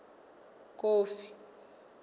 kofi